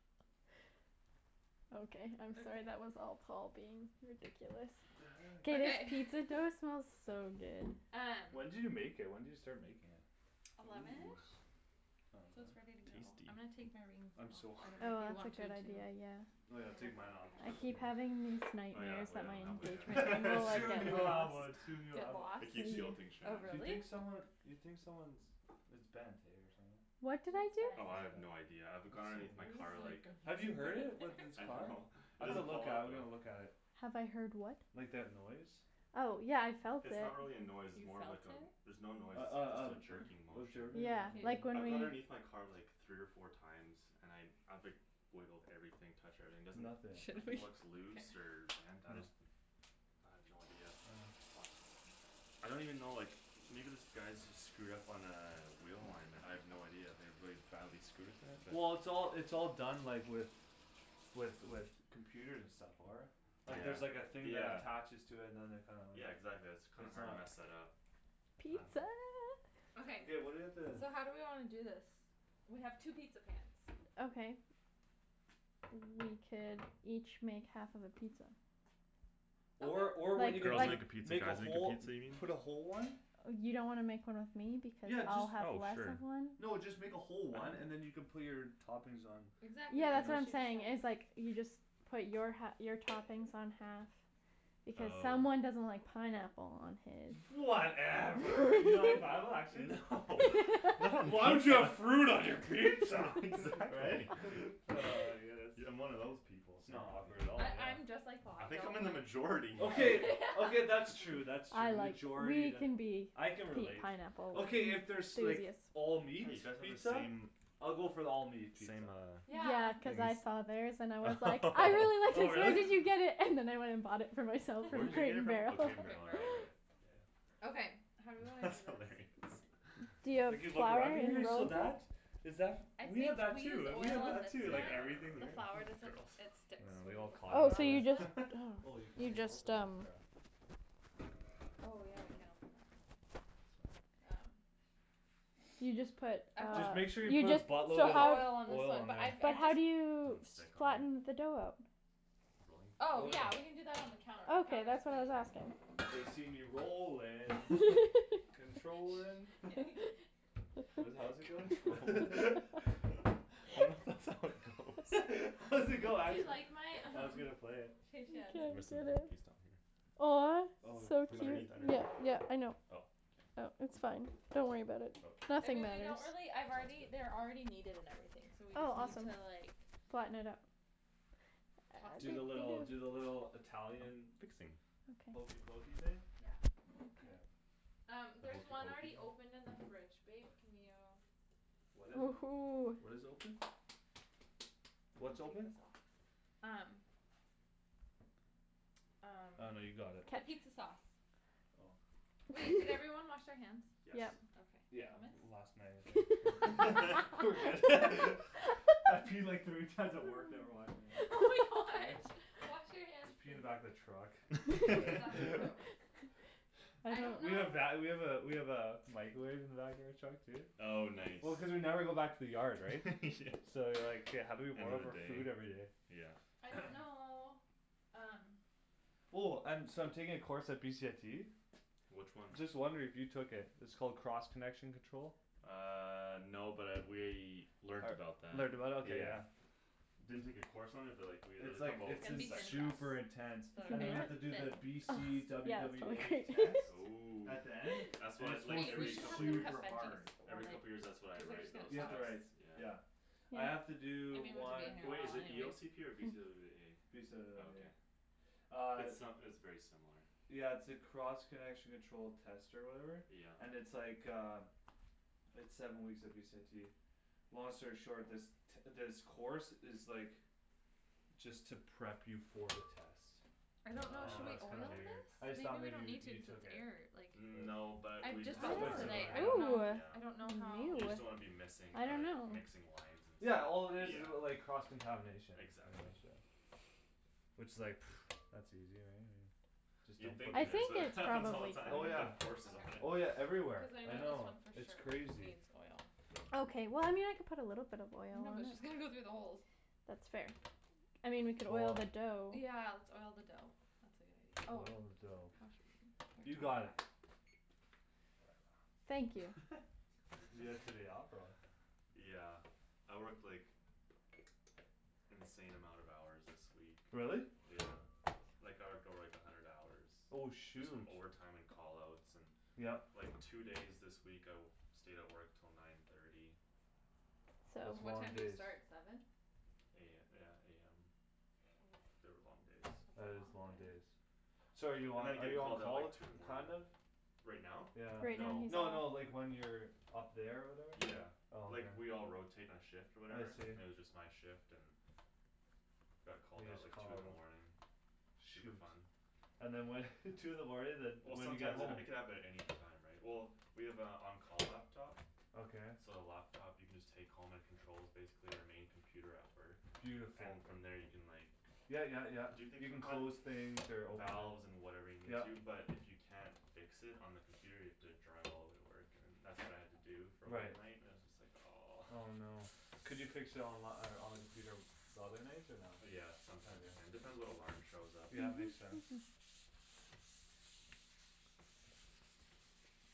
Okay I'm sorry that was all Paul being ridiculous What Oh the K heck? this guy- pizza dough smells so good Um When did you make it? When did you start making it? Ooh eleven-ish? So it's ready to go. I'm gonna take my rings Tasty I'm so off, I don't hungry know Oh if you that's want a to good too idea, yeah Oh yeah I'll take mine off, too, I here keep having these Oh yeah, nightmares oh yeah that my engagement I don't ring have one will like yet Soon get you'll have lost one, soon you'll Get have one lost? I keep Mhm guilting Oh Shan You think really? someone you think someone's it's bent eh, or something What What's did I bent? do? Oh I have no idea, I've That's gone underneath my car so like Have you heard it? With this I car? know It I've to doesn't look fall at it, out I've though gotta look at it Have I heard what? Like that noise? Oh, yeah I felt it It's not really a noise, it's You more felt like a it? there's no noise Uh it's just a uh jerking motion uh Yeah, K like when I've gone we- underneath my car like three or four times and I I've like wiggled everything, touched everything, there's Nothing Should we? nothing looks K loose or bent, I Hm just I have no idea Huh I don't even know like, maybe this guy's just screwed up on a wheel line and I have no idea, I have really badly screwed it but Well it's all it's all done like with with with computers and stuff, for it Like there's like a Yeah, thing that yeah attaches to it and then they kinda like Yeah exactly, that's kinda it's hard to not mess that up I dunno Pizza Okay Okay what do we have to so how do we wanna do this? We have two pizza pans Okay We could each make half of a pizza Or or what you Like could girls do make a pizza, make a guys make a whole pizza, you put a whole mean? one You don't wanna make one with me because Yeah, I'll just have Oh less sure of one? No, just make a whole one and then you can put your toppings on You Exactly, Yeah that's that's what what I'm she was know? saying saying, is like you just put your hal- your toppings on half, because someone Oh doesn't like pineapple on his Whatever You don't like pineapple, actually? Why would you have fruit on your pizza? Right? Exactly Ah, I guess I'm one of those people, sorry S'not awkward dude at all, I- I'm yeah just like Paul, I I think I'm don't in the like majority Okay, okay that's true, that's I true, like majority that, I can relate pineapple Okay if there's like, all meat Hey you guys have the pizza? same, same I'll uh go for the all meat pizza Yeah, cuz I saw theirs and I was like, I really like Oh this where really? did you get it? And then I went and bought it for myself Where from did you Crate get it and from? Crate Barrel Oh Crate and and Barrel right right Barrel Yeah Okay, how do we wanna That's do hilarious this? D'you have you look flour around in here, your? Is that I f- we think have that we use too, we oil have on that this too, one, like Yeah everything the here flour r- doesn't girls, it I sticks yeah know, we when there's all a Oh, flour on so you it each just other Oh you can't You even just, open that um crap Oh yeah, we can't open that. Okay It's fine Um So you just put uh, Just make sure you you put a just so So buttload of oil on this oil one all on but there I've I but how do you just Don't s- stick on it? flatten the dough out? Rolling? Oh Oh yeah yeah, we can do that on the counter, the Okay, counter's that's what clean I was asking They see me rollin', controllin' Shh What does it how Controllin'? does it go? I don't th- that's how it goes How does it go, Do you actually? like my, I was um, gonna play it He can't Rest of it get one it piece down here Aw. Oh, So From put cute, underneath, underneath? yeah yeah I know Oh Oh, k It's fine, don't worry about it I Nothing mean Okay, we matters don't really I've sounds already they're good already kneaded and everything, so we Oh just need awesome to like Flatten it out Toss Do the little it do the little Italian Fixing hokey Okay pokey thing? Yeah K Um, The there's hokey one already pokey? open in the fridge, babe, can you What is it? Woohoo. What is open? What's open? Um Um, Oh no you got it capizza sauce Oh Wait, did everyone wash their hands? Yes Yep Yeah, Okay. Thomas? last night I think We're good I peed like thirty times at work, never washed Oh my my hands, god, eh? wash your hands please Just pee in the back of the truck K, that's gross I don't We know have va- we have a we have a microwave in the back of our truck too Oh nice Well cuz we never go back to the yard, right? So like, Yeah how do we warm up our Everyday, food everyday? yeah I don't know, um Oh um so I'm taking a course at BCIT? Which one? Just wondering if you took it, it's called cross connection control? Uh no, but I we learned about that, Learned about it? Ok yeah yeah Didn't take a course on it but like we had It's like, It's it's gonna in be thin to crust super intense Ugh And then Is we have to that do the ok? B Thin C crust W yeah it's W totally A great test. Ooh At the end. That's And wha- it's it's like supposed Hey, to be we every should like couple years this, super hard or Every like, couple years that's what I cuz they're write, just those You have tests? gonna to write, Yeah yeah I Yeah have to I do mean one Wai- is it E anyways O C P or B C W W Mm. B A? Okay Uh It's uh it's very similar Yeah it's a cross connection control test or whatever? Yeah And it's like uh It's seven weeks at BCIT Long story short, this t- this course is like, just to prep you for the test I don't know, And should we Oh. that's kinda oil weird I this? okay just They thought do it maybe on you you YouTube so took it's it air, like No, but I've we just had bought to Somewhat this learn that, how to similar, today, I do yeah don't know, that, Ooh I don't know yeah how Ew, You just don't wanna be missing I uh dunno mixing lines and stuff, Yeah, all it is is like, cross yeah contamination Exactly Which is like, that's easy right, I mean Just You'd don't put think I it is, think but it it's happens all the probably time Oh which is we yeah, have courses on it oh Okay, yeah everywhere, cuz I I know this know, one for it's sure crazy needs oil Okay well I mean I can put a little bit of oil No on but it just gonna go through the holes That's fair I mean we could oil Cool the dough Yeah, let's oil the dough. That's a good idea. Oh, Oil the dough how should You got we it Whatever. Thank you Did you get today off, or what? Yeah, I worked like, insane amount of hours this week Really? Yeah, like I would go like a hundred hours Oh Just from shoot overtime and call outs, and Yep like two days this week I w- stayed at work till nine thirty That's And what long time So do you days start, seven? A- yeah, AM. Mm, They were long days that's a That is long long day days So are you I'm on gonna are get you on called out call, like t- two in the morning kind of? Right now? Yeah Right No now No no, he's like when you're up there or whatever? Yeah, Oh okay like we all rotate our shift or I whatever, see and it was just my shift and Got called You out just like call two in a the lot morning, super Shoot fun And then what two in the morning then Well when do you get sometimes it home? it could happen at any time, right? Well, we have a on call laptop Okay So the laptop you can just take home and it controls basically our main computer at work Beautiful And from there you can like, Yeah yeah yeah, do things you can from close things or open Valves and whatever you need Yeah to, but if you can't fix it on the computer you have to drive all way to work and that's what I had to do for one Right night, it was just like aw Oh no Could you fix it onli- on the computer the other nights, or not? Yeah, sometimes you can, depends what alarm shows up Yeah, makes sense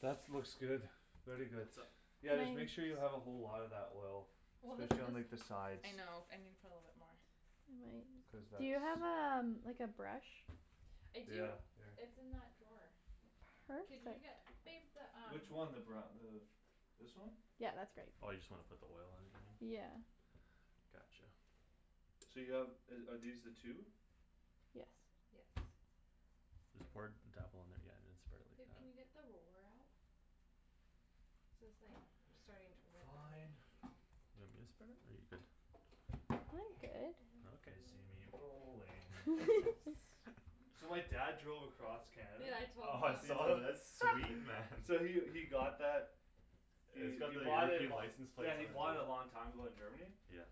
That's looks good, very good What's up? Yeah just make Thanks sure you have a whole lotta that oil, Well this specially on like the this, sides I know, I needa put a little bit more Cuz Do that's you have a um- like a brush? I do, Yeah, here it's in that drawer Could Perfect you get babe the um Which one, the bru- the, this one? Yeah, that's great Oh you just wanna put the oil on even? Yeah Gotcha So you have uh are these the two? Yes Yes This part, tap on that yeah, then spread it like Babe, that can you get the roller out? So it's like, starting to rip a Fine bit You want me to spread it, or I'm you good? good Okay They see me rolling So my dad drove across Canada Yeah, I told them. Oh I saw that, that's sweet man Yeah we we got that, we we bought it lo- license plate yeah we bought it a long time ago in Germany Yeah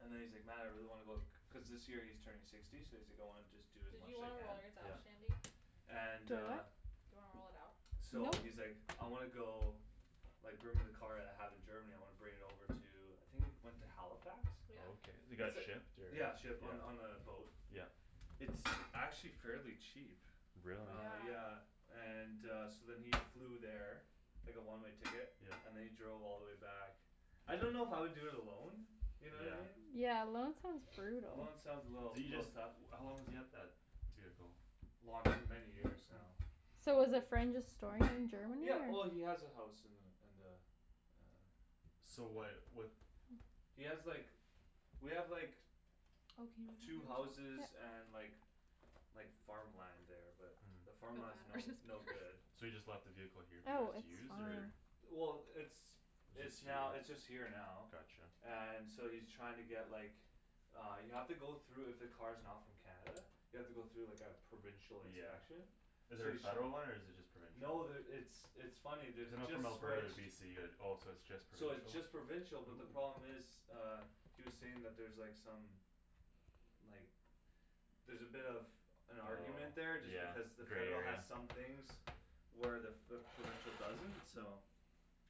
And then he's like, man I really wanna go, cuz this year he's turning sixty so he's like going just do as Did much you as he wanna can roll yours out, Yeah Shandy? And Do I uh what? Do you wanna roll it out? So Nope he's like, I wanna go, like bring my car that I have in Germany, I wanna bring it over to, I think it went to Halifax? Okay, Yeah it got shipped or, yeah Yeah, shipped on on a boat Yeah It's actually fairly cheap Really? Uh Yeah yeah, and uh so then he flew there Like a one-way ticket, Yeah and then he drove all the way back I don't know if I would do it alone, you know? Yeah Yeah, alone sounds brutal Alone sounds a little, Do you little just tough how long does he have that vehicle? Long- many years now, So Mm. was a probably friend just storing it in Germany Yeah, well he or? has a house in the in the uh So why'd what He has like we have like Oh can you move two that to houses the back? Yeah and like like farmland there, but the The farmland's Mhm. no batter's just no good So he perf- just left the vehicle here for you Oh, guys to it's use, or fine Well, it's it's now it's just Just here? here now Gotcha And so he's trying to get like, uh you have to go though if a car's not from Canada, you have to go through like a provincial Yeah inspection Is So there a he's tr- federal one or is it just No, provincial? there it's it's funny, there's So a not just from Alberta to switched BC, it oh it's just So it's just provincial? provincial, but the Ooh problem is uh, he was saying that's there like some like, there's a bit of an argument Oh there just yeah, because the federal there has is some things where the- f- the provincial doesn't, so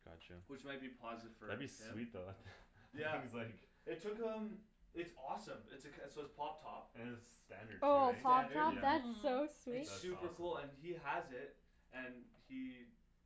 Gotcha Which might be positive for That'd be like sweet though, that him th- Yeah, he's like it took him, it's awesome, it's a c- so it's pop top It's standard too, Oh, right? pop Standard. top? Yeah That's so Mm sweet That's It's awesome super cool and he has it And he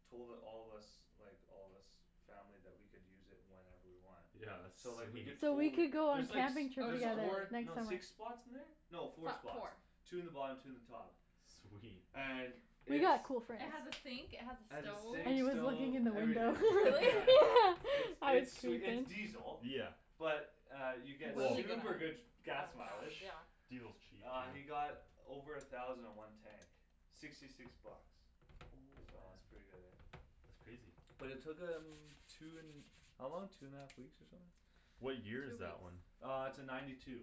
told it- all of us, like all us family that we could use it whenever we want Yeah that's So like we sweet could So we could totally go on there's like camping s- trip Oh there's together four, totally next no summer six spots in there? No Fo- four spots, four two in the bottom two in the top Sweet And it's Yeah, cool friends It has a sink, it has It a has a stove And sink, he was looking stove, in the Oh everything, window really? yeah It's Yeah it's it's diesel, Yeah but uh you get Well super good gas mileage Yeah Diesel's cheap, Uh dude you got over a thousand in one tank, sixty six bucks Oh, So that's man. pretty good eh That's crazy Well it took him, two n- how long, two and a half weeks or something? Two What year is weeks that one? Uh it's a ninety two,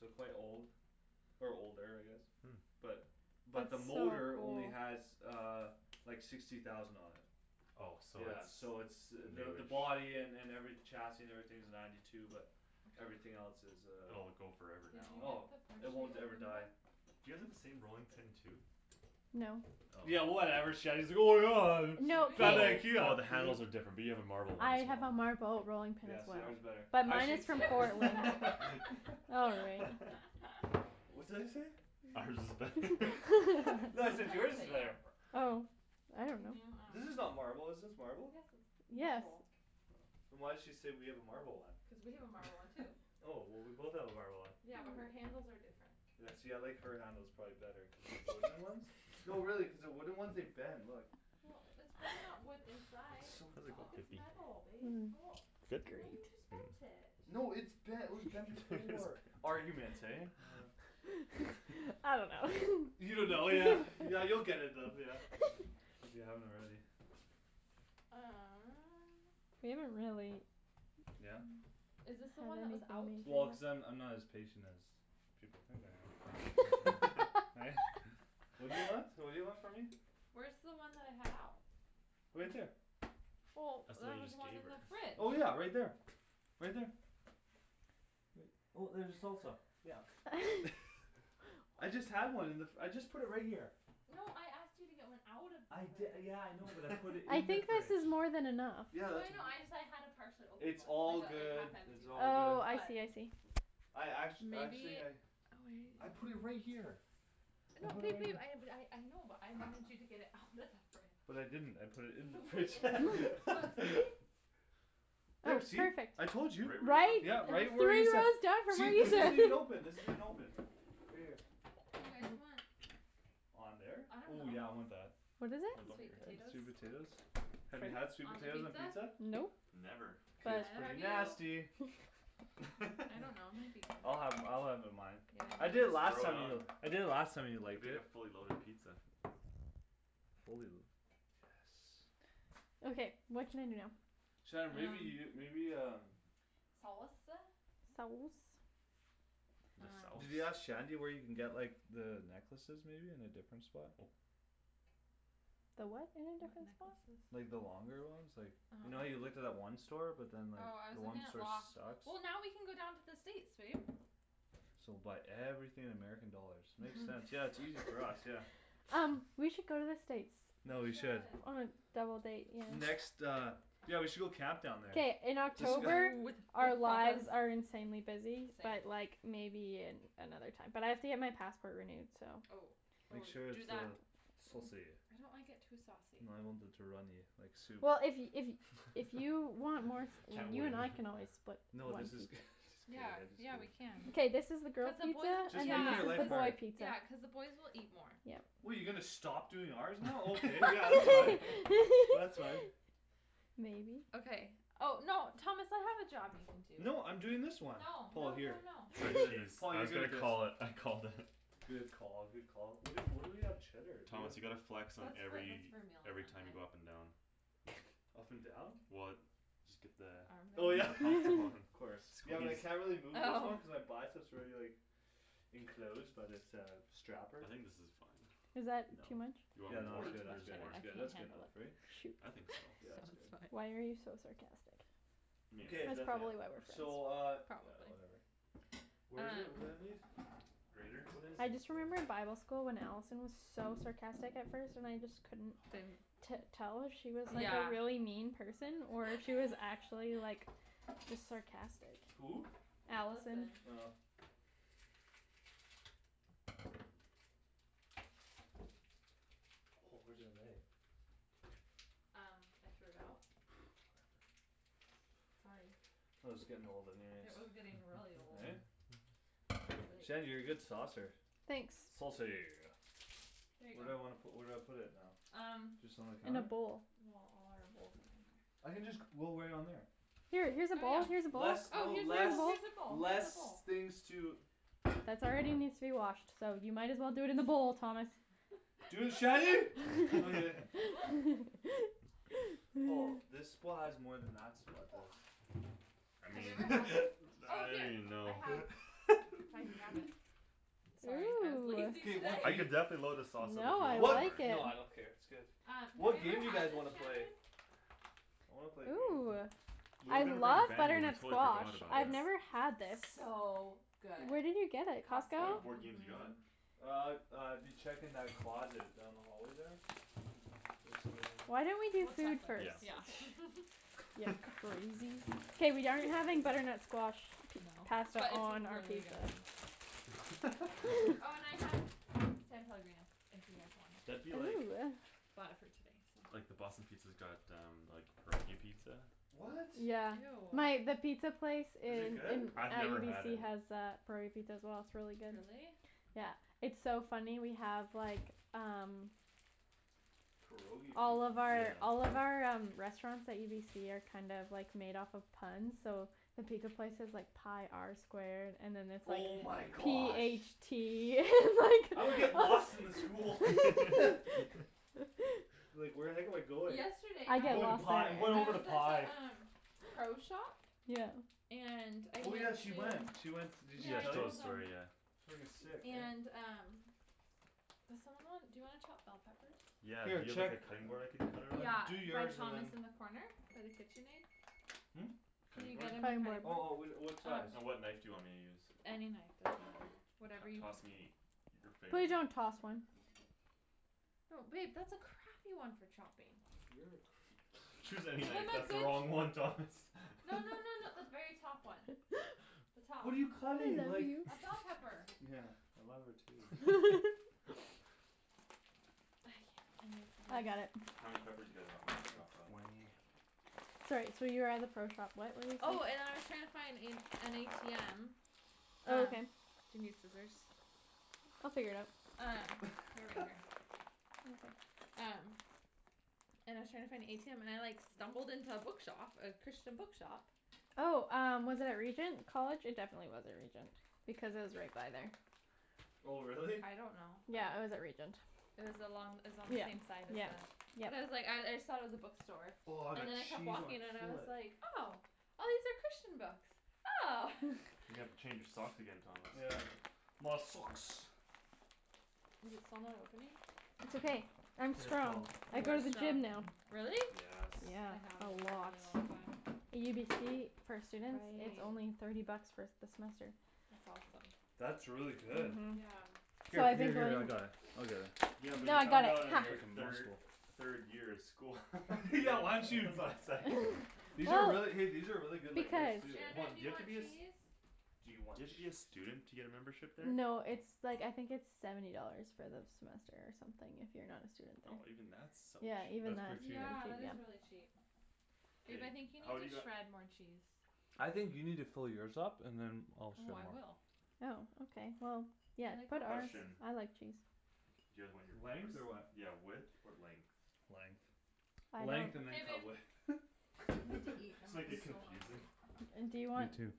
so quite old Or older, I guess Hmm But but the That's so motor old only has uh like sixty thousand on it Oh so Yeah so it's it's the the new-ish body an- and every chassis and everything's ninety two but everything else is uh Oh, it go Did you forever Oh, now get the it won't ever open? die Do you all have the same rolling pin too? No Oh Yeah From No, No. I oh IKEA the handles are different, we have a marble one as have a well marble rolling pin Yeah, as well yours is better. But I mine can't is from Portland All right What's that you say? Ours is better No I said yours is better Yapper Oh I don't know Yours is not marble, is this Yes it's marble? Yes marble Oh. Then why'd she say we have a marble Cuz one? we have a marble one too Oh, well we both have a marble one Yeah, but her handles are different Yeah see I like her handles probably better cuz the wooden ones no really cuz the wooden ones, they bend, look Well, that's probably not wood inside, It's so look it's metal babe Oh, Mm why you Great just bent it No it's bent it was bent before It's Arguments, bent eh? Uh I don't know You don't know, yeah yeah you'll get it bent yeah, if you if you haven't already Uh We haven't really Yeah? Is this the How one that was are out? we Well going cuz I'm I'm not to as patient as people think I am Yeah, right? What do you want? What do you want from me? Where's the one that I had out? Right there Well, That's the one there you was just one gave in her the fridge Well yeah right there, right there Right well there's the salsa, yeah I just had one in the f- I just put it right here No, I asked you to get one out of I the di- fridge yeah I know, but I put it I in the think this fridge is more than enough Yeah, No I that's it- know, ju- I just- I had a partially open it's one, all like a like good, half it's empty one, all good Oh I but see I see I act- actually Maybe I I put oh wait it right here I No, put it babe right babe, here I had a I know, but I wanted you to get it out of the fridge But I didn't, I put it in the You put it fridge in the fridge. Well see? Oh, There see, perfect I told you! Right where you Right? left it Yeah, Three right, where you ta- rows down from where see this isn't even you open, this isn't even open Right here Do you guys want On there? I don't Ooh yeah know I want that What is it? Sweet potatoes Sweet potatoes? Have you had sweet On the potatoes on pizza? pizza? Nope Never K. But It's neither pretty have you nasty I don't know, might be I'll good have I'll have it on mine I Yeah did I last Load it time know you do it, on, I did it last time and I liked make a it fully loaded pizza Fully lu- yes Okay, what can I do now Shan, maybe you, maybe um Um. Saus- uh? Sauce The sauce Did you Um ask Shandy where you can get like the necklaces maybe in a different spot? Oh. The what in a What different spot? Like the necklaces? longer ones like, you know how you looked at uh-huh that one store but then like, Oh, I the was one looking at store Loft sucks? Well now we can go down to the States, babe So buy everything in American dollars, makes sense, yeah Mhm it's easier for us, yeah Um, we should go to the States We No, we should should On a double date, yeah Next uh, yeah we should go camp down there K, in October Ooh, with our our lies lives are insanely busy but like, maybe another time But I have to get my passport renewed so Oh, oh Make sure do it's that uh, saucy I don't like it too saucy too runny, like soup Well if if if you want more s- Can't you and win I can always split No this is good, this is good Yea, yeah we can K, I this is the Yeah, just girls cuz pizza, and Just make then this is the boy it pizza the boys will eat more Yeah What you gonna stop doing ours now? Okay yeah, you can. That's right Maybe Okay oh, no Thomas I have a job you can do No I'm doing this one No, Paul no here no no Shred cheese, Tom I was gonna call it, I called it Good call, good call. Where do- where do we have cheddar? Do we Thomas you gotta flex on That's for- that's every, for meal on every time you Monday go up and down and down? Well, just get the Oh yeah Armband? optimum Of course. Yeah well squeeze I can't really move this Oh one cuz I buy it so it's already like enclosed by this uh strapper I think this is fine Is No, that No. too much? you Way too much, Yeah I want no no- that's more? good that's good more that's I good can't that's good handle enough, it right? Shoot. I think so. Yeah it's good Sounds Why fine are you so sarcastic? Meat, Good, That's definitely probably why we're add so uh, more friends Probably yeah, whatever. Um Grater? What is I this just thing? remembered bible school when Allison was so sarcastic at first and I just couldn't- Didn't t- tell if she was like a Yeah really mean person or if she was actually like, just sarcastic Who? Allison Allison Oh Oh where's Um, I threw it out? Whatever Sorry It was getting old anyways It was getting really old Eh? It was Shandy, like you're a good saucer Thanks Saucy There you Where do I go wanna pu- where do I put it now? Um Just on the In a counter? bowl Well all our bowls are in there I can just c- roll right on there Here, here's a bowl, Oh here's a yeah bowl oh Less no here's a less, bowl, here's a less things to bowl. That's already needs to be washed, so you might as well do it in the bowl, Thomas Dude, Shandy? Okay Wa I Have you ever mean, had this? Oh I don't here, even I know have, if I can grab it Sorry, I was lazy K, today what Ooh I game? could definitely load the sauce up No if you I want What more like it Uh, have you What ever game do you had guys this, wanna play? Shandryn? I wanna play a game Ooh, Where we I gonna bring love we butternut totally squash, forgot about I've it never had this It's so good Where did you get it, Costco? What Costco, board games you got? mhm Uh, uh dude check in that closet, down the hallway there? There's some in Why don't we there do We'll check food first? Yeah later, yeah K we aren't having butternut squash No, pasta but it's on our really pizza good Oh and I have San Pellegrino, if you guys want That'd be like, it Ooh Bought it for you today, so like the Boston Pizza's got um, pierogi pizza What? My- the Ew pizza place Is it in good? I've never had UBC it has a curry pizza as well, it's really good Really? Yeah, it's so funny we have like, um Pierogi All pizza of our all of Yeah our um restaurants at UBC are kind of like made off of puns, so the pizza place is like pi R squared, and then it's like Oh my p h gosh tea I would and get lost in the school like Like where the heck am I going? Yesterday I'm I going to pi, I'm going I over to was at pi the um Pro shop? Yeah And I Oh yeah, had she went, she to went s- did she Yeah Yeah, I she tell told you? us told the them story, yeah Frigging sick, And man um Does someone want dou you wanna chop bell peppers? Yeah, do Here, you have like check a cutting board I could cut it on? Yeah, Like, do by yours and Thomas then in the corner? By the KitchenAid? Hm? Can Cutting you board? get him my cutting Oh oh board? whi- uh, what size? Um And what knife do you want me to use? Any knife, doesn't matter T- Whatever you toss me your Please, favorite one don't toss one No babe, that's a crappy one for chopping You're a cra- Choose any Give knife, him a that's the good, wrong no one Thomas no no no the very top one The top What are you cutting? Like A bell pepper Yeah, I love her too I can't, I I got need it How many peppers do you guys want me to Like chop up? twenty Sorry so you were at the pro shop, what were you saying Oh and I was trying to find in an ATM Oh Um, okay do you need scissors They'll figure it out Um, they're right here Um And I was trying to find a ATM and I like stumbled into a bookshop, a Christian bookshop Oh um, was it at Regent College? It definitely wasn't Regent, because I was right by there Oh really? I don't know Yeah, I was at Regent It was along, it was on the same Yep, side as yep, the, but I was like, I I yep thought it was a bookstore, Aw, and that then I kept cheese walking and I was on like, oh, these are Christian books! Oh! You gotta change your socks again, Thomas Yeah My socks Is it still not opening? It's okay, I'm Here strong, Paul I You go are to the strong. gym now Really? Yes Yeah, I a haven't gone in a lot really long time UBC, for students, it's Awesome only Right thirty bucks for s- the semester That's awesome That's really good Mhm Yeah Here, What? here here I got it, I'll get it Yeah but No you I got found it, out in hah your thir- third year of school Yeah why don't That's you why was like These are really, hey Oh these are really good like veg Because too, Hold Shandryn, on, do do you you have to want be a eh s- cheese? Do Do you want you have to be a cheese? student to get a membership there? No it's like I think it's seventy dollars for the semester or something if you're not a student there Oh even that's so Yeah, cheap even That's that pretty cheap Yeah, that is really cheap Babe K, I think you need how'd you to got shred more cheese I think you need to fill yours up, and then Oh I will Oh ok well, Yeah, yeah, put it Question I on like cheese Do you guys want your Length? peppers, Or what yeah width or length? Length Length and then K, cut babe width I need to eat, Just I'm make like it so confusing hungry And do you You want too